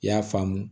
I y'a faamu